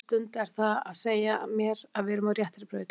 Á þessari stundu er það að segja mér að við erum á réttri braut.